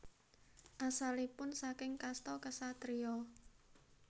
Asalipun saking kasta Ksatria